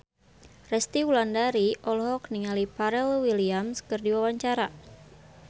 Resty Wulandari olohok ningali Pharrell Williams keur diwawancara